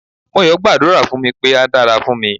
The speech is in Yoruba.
Moyo gbàdúrà fún mi pé á dára fún mi.